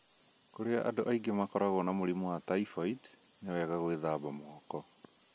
Kũrĩa andũ aingĩ makoragwo na mũrimũ wa typhoid, nĩ wega gwĩthamba moko.